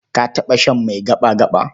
Ka taɓa shan mai gaɓa-gaɓa?